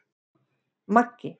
Maggi